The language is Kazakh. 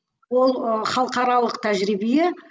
ол ы халықаралық тәжірибе